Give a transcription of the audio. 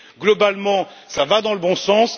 Globalement, cela va dans le bon sens.